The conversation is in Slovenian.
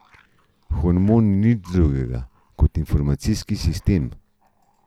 Hormon ni nič drugega kot informacijski sistem.